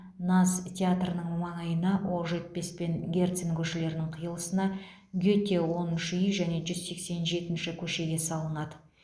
наз театрының маңайына оқжетпес пен герцен көшелерінің қиылысына гете оныншы үй және жүз сексен жетінші көшеге салынады